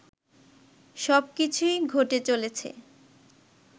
সব কিছুই ঘটে চলেছে